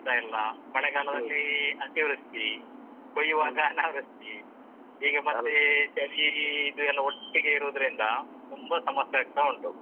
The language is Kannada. ಸಿಗ್ತಾ ಇಲ್ಲ ಮಳೆಗಾಲದಲ್ಲಿ ಅತೀವೃಷ್ಟಿ ಕೊಯ್ಯುವಾಗ ಅನಾವೃಷ್ಟಿ. ಈಗ ಮತ್ತೆ ಚಳಿ ಇದು ಎಲ್ಲ ಒಟ್ಟಿಗೆ ಇರುದ್ರಿಂದ ತುಂಬಾ ಸಮಸ್ಯೆ ಆಗ್ತಾ ಉಂಟು.